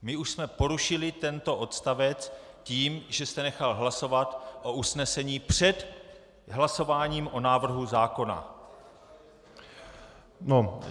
My už jsme porušili tento odstavec tím, že jste nechal hlasovat o usnesení před hlasováním o návrhu zákona.